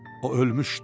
O ölmüşdü.